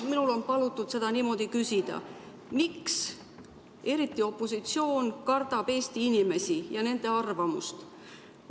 Minul on palutud seda niimoodi küsida: miks eriti opositsioon kardab Eesti inimesi ja nende arvamust?